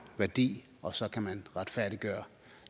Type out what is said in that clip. værdi og så kan man retfærdiggøre